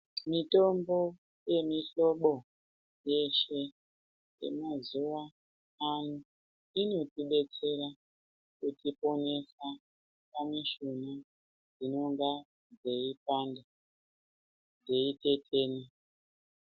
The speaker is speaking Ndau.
Mitombo yemiblobo yeshe yemazuva ano inotibetsera kutiponesa pane zvinonga zveipanda, zvei tetena.